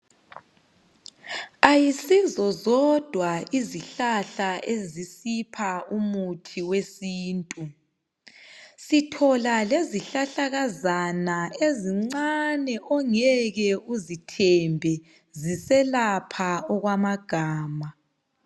Ayisizo zodwa izihlahla ezisipha umuthi wesintu. Sithola lezihlahlakazana ezincane ongeke uzithembe ziselapha okwamagama.